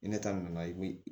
Ni ne ta nana i bi